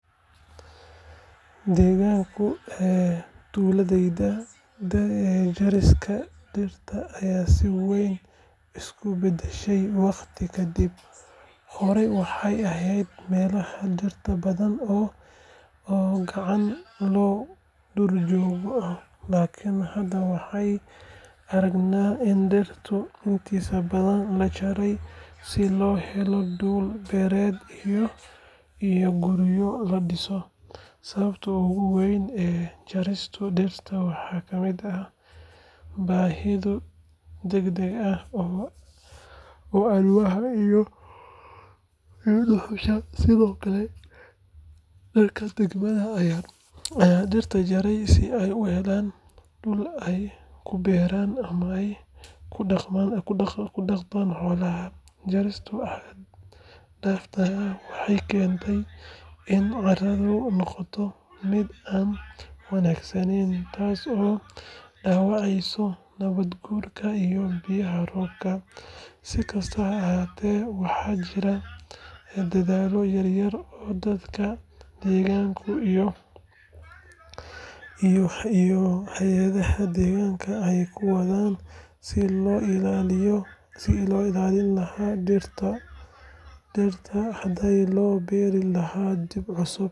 Deegaanka tuuladayda, jarista dhirta ayaa si weyn isu bedeshay waqti ka dib. Hore waxay ahayd meelaha dhirta badan oo cagaaran oo duurjoog ah, laakiin hadda waxaan aragnaa in dhirta intiisa badan la jaray si loo helo dhul beereed iyo guryo la dhiso. Sababaha ugu waaweyn ee jarista dhirta waxaa ka mid ah baahida degdegga ah ee alwaaxa iyo dhuxusha, sidoo kale dadka deegaanka ayaa dhirta jaraya si ay u helaan dhul ay ku beeraan ama ku dhaqdaan xoolaha. Jarista xad dhaafka ah waxay keentay in carradu noqoto mid aan wanaagsaneyn, taasoo dhaawacday nabaad guurka iyo biyaha roobka. Si kastaba ha ahaatee, waxaa jira dadaallo yar yar oo dadka deegaanka iyo hay’adaha deegaanka ay ku wadaan sidii loo ilaalin lahaa dhirta hadhay loona beeri lahaa dhir cusub.